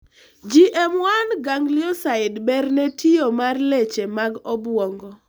GM1 ganglioside ber ne tiyo mar leche mag obuongo